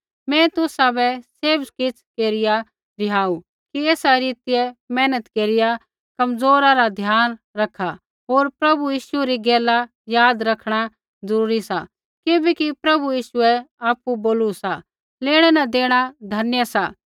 मैं तुसाबै सैभ किछ़ केरिया रिहाऊ कि एसा रीतियै मेहनत केरिया कमज़ोरा रा ध्यान रखा होर प्रभु यीशु री गैला याद रखणा ज़रूरी सा किबैकि प्रभु यीशुऐ आपु बोलू सा लेणै न देणा धन्य सा